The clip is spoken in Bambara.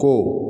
To